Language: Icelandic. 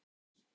Sigvaldi